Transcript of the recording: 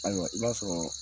Ayiwa i b'a sɔrɔ